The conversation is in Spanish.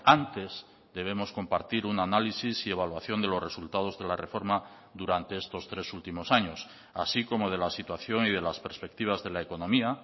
antes debemos compartir un análisis y evaluación de los resultados de la reforma durante estos tres últimos años así como de la situación y de las perspectivas de la economía